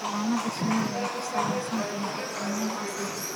Xannaanada shinnidu waxay ku salaysan tahay farsamooyin casri ah.